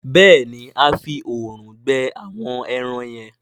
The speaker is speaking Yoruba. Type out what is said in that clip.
béèni a fí òòrùn gbẹ àwọn èràn yen.